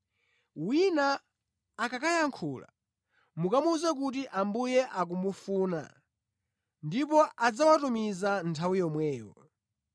Wina akakayankhula, mukamuwuze kuti Ambuye akuwafuna, ndipo adzawatumiza nthawi yomweyo.”